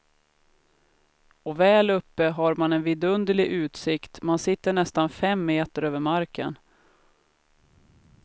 Och väl uppe har man en vidunderlig utsikt, man sitter nästan fem meter över marken.